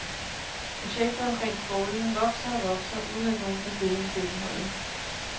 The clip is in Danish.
Projektet omkring strålen vokser og vokser uden at nogen tager stilling til indholdet.